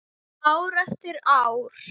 Ár eftir ár.